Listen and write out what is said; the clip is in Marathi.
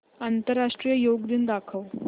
आंतरराष्ट्रीय योग दिन दाखव